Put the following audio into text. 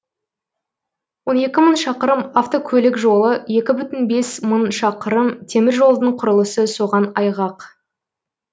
он екі мың шақырым авткөлік жолы екі бүтін бес мың шақырым теміржолдың құрылысы соған айғақ